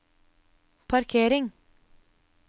parkering